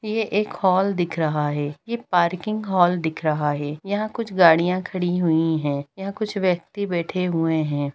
ये एक हॉल दिख रहा है ये पार्किंग हॉल दिख रहा है यहाँ कुछ गाड़ियाँ खड़ी हुई है यहाँ कुछ व्यक्ति बैठे हए है।